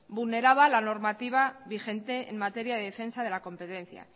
vulneraba la normativa vigente en materia de defensa de la competencia